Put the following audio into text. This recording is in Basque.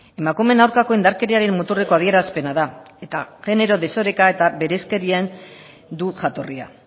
emakumeen aurkako indarkeriaren muturreko adierazpena da eta genero desoreka eta bereizkerian du jatorria